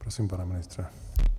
Prosím, pane ministře.